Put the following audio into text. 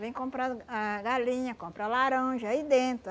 Vem comprar as ah galinha, compra laranja aí dentro.